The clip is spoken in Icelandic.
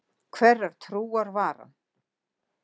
Hverrar trúar var hann?